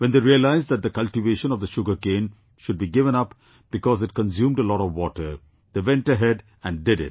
When they realised that the cultivation of the sugarcane should be given up because it consumed a lot of water, they went ahead and did it